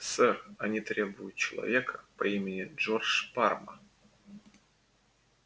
сэр они требуют человека по имени джордж парма